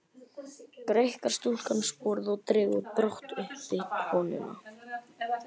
Greikkar stúlkan sporið og dregur brátt uppi konuna.